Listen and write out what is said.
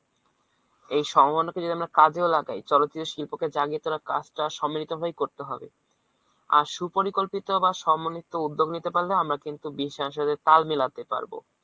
এই সম্ভবনাকে যদি আমরা কাজেও লাগাই চলচিত্র সম্ভবাকে জাগিয়ে তোলার কাজটা সন্মিলিতভাবেই করতে হবে। আর সুপরিকল্পিত বা সন্মিলিত উদ্যোগ নিতে পারলে আমরা কিন্তু বিশ্ব সাথে তাল মেলাতে পারবো।